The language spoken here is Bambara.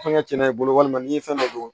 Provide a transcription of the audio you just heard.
Fɛngɛ i bolo walima n'i ye fɛn dɔ don